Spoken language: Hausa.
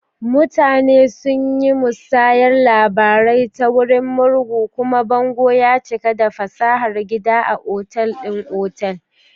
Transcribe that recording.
Mutane sun yi musayar labarai ta wurin murhu, kuma bango ya cika da fasahar gida a otal ɗin otal.